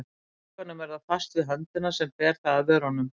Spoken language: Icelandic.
Í huganum er það fast við höndina sem ber það að vörunum.